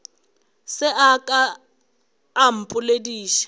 se a ka a mpoledi